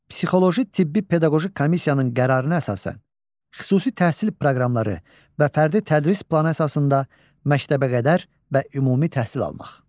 Psixoloji tibbi pedaqoji komissiyanın qərarına əsasən xüsusi təhsil proqramları və fərdi tədris planı əsasında məktəbəqədər və ümumi təhsil almaq.